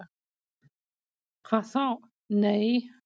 """Hvað þá., nei."""